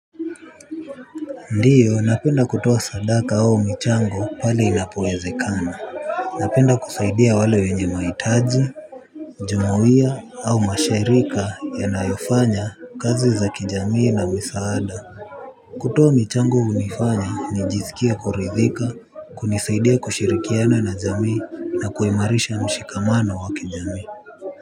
Ndiyo napenda kutoa sadaka au michango pale inapowezekana. Napenda kusaidia wale wenye mahitaji jumuia au mashirika yanayofanya kazi za kijamii na misaada. Kutoa michango hunifanya nijisikie kuridhika kunisaidia kushirikiana na jamii na kuimarisha mshikamano wa kijamii.